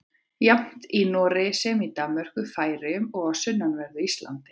Jafnt í Noregi sem í Danmörku, Færeyjum og á sunnanverðu Íslandi.